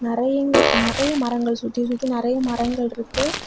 நெறையங்கள் நெறைய மரங்கள் சுத்தி சுத்தி நெறைய மரங்கள் இருக்கு.